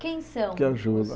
Quem são os Que ajuda